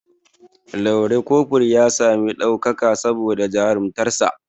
Lanre kofur ya sami ɗaukaka saboda jarumtakar sa